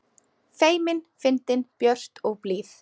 Feimin, fyndin, björt og blíð.